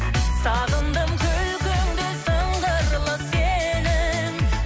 сағындым күлкіңді сыңғырлы сенің